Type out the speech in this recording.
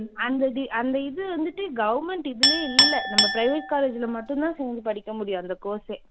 அந்த இது அந்த இது வந்துட்டு government இதுலயே இல்ல நம்ப private college ல மட்டும் தான் சேர்ந்து படிக்கச் முடியும் அந்த course எ